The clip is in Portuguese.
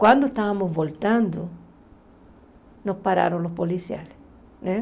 Quando estávamos voltando, nos pararam os policiais né.